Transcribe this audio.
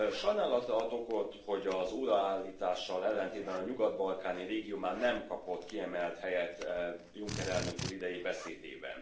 Sajnálatra ad okot, hogy az óraátállítással ellentétben a nyugat balkáni régió már nem kapott kiemelt helyet Juncker elnök úr idei beszédében.